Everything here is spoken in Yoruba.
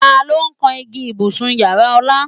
Ta ló kan igi ibùsùn ìyára Ọlá?